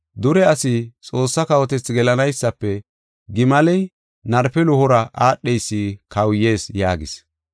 Dure asi Xoossaa kawotethaa gelanaysafe gimaley narpe luhora aadheysi kawuyees” yaagis. Gimale Goochiya Asi